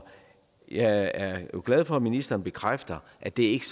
jeg er glad for at ministeren bekræfter at det ikke